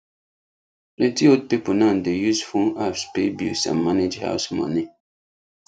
plenty old people now dey use phone apps pay bills and manage house money